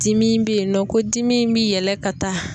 Dimi bɛ yen nɔ ko dimi in bi yɛlɛ ka taa.